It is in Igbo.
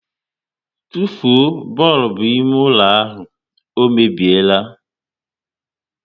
Tụfuo bọlbụ ime ụlọ ahụ, ọ mebiela!